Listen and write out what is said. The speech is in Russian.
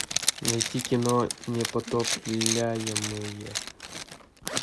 найти кино непотопляемые